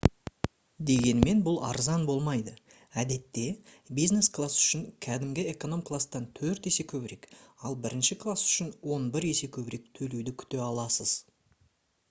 дегенмен бұл арзан болмайды әдетте бизнес класс үшін кәдімгі эконом кластан төрт есе көбірек ал бірінші класс үшін он бір есе көбірек төлеуді күте аласыз